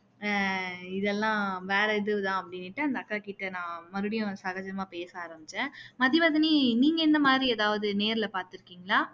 ஹம் இதெல்லாம் வேற இது தான் அப்படின்னுட்டு அந்த அக்காக்கிட்ட நான் சகஜமா பேச ஆரமிச்சேன் மதிவதனி நீங்க இந்த மாதிரி எதாவது நேர்ல பாத்துருக்கீங்களா